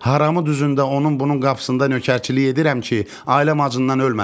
Harami düzündə onun bunun qapısında nökərçilik edirəm ki, ailəm acından ölməsin.